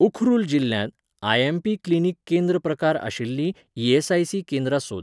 उखरुल जिल्ल्यांत IMP clinic केंद्र प्रकार आशिल्लीं ईएसआयसी केंद्रां सोद